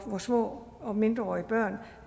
små og mindreårige børn